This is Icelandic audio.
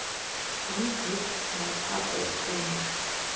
Vann einn en tapaði tveimur